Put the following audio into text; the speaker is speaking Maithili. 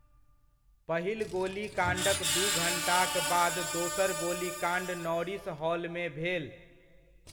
पहिल गोलीकाण्डक दू घण्टाक बाद दोसर गोलीकाण्ड नॉरिस हॉलमे भेल।